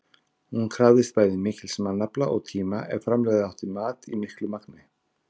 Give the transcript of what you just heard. Hún krafðist bæði mikils mannafla og tíma ef framleiða átti mat í miklu magni.